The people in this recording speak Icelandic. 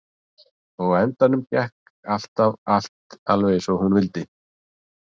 Og á endanum gekk alltaf allt alveg eins og hún vildi.